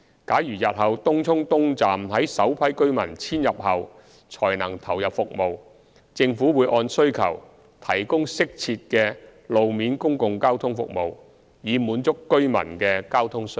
假如日後東涌東站於首批居民遷入後才能投入服務，政府會按需求提供適切的路面公共交通服務，以滿足居民的交通需要。